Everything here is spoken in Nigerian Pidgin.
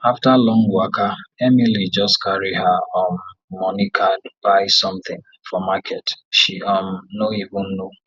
after long waka emily just carry her um money card buy something for market she um no even know